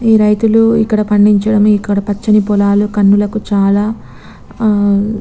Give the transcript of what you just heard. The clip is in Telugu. ఈ రైతుల్లు ఇక్కడ పండించడం ఇక్కడ పచని పోల్లలు కనులకి చాల ఆహ్ --